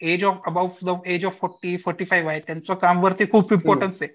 Age of above forty age of forty five आहेत त्यांचं काम वरती खूप इम्पॉर्टन्स आहे.